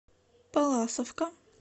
палласовка